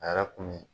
A yɛrɛ kun mi